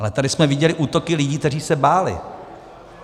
Ale tady jsme viděli útoky lidí, kteří se báli.